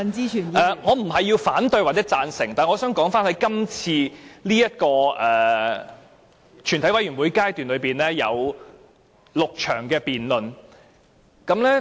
我發言並非要表示反對或贊成，但我想說的是這次全體委員會審議階段有6場辯論。